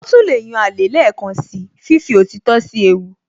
Ó tún lè yan alẹ́ lẹ́ẹ̀kan síi fífi òtítọ́ sí ewu